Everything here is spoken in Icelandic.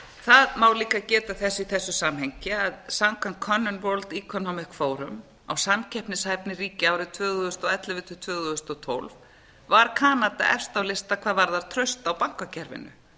það má líka geta þess í þessu samhengi að samkvæmt könnun world economic forum á samkeppnishæfni ríkja árið tvö þúsund og ellefu til tvö þúsund og tólf var kanada efst á lista hvað varðar traust á bankakerfinu